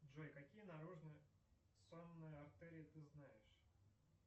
джой какие наружные сонные артерии ты знаешь